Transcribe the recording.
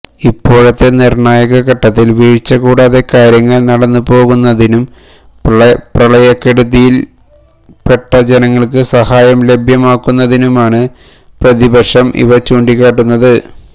ഇപ്പോഴത്തെ നിര്ണ്ണായ ഘട്ടത്തില് വീഴ്ച കൂടാതെ കാര്യങ്ങള് നടന്നു പോകുന്നതിനും പ്രളയക്കെടുതിയില്പ്പെട്ട ജനങ്ങള്ക്ക് സഹായം ലഭ്യമാകുന്നതിനുമാണ് പ്രതിപക്ഷം ഇവ ചൂണ്ടിക്കാട്ടുന്നത്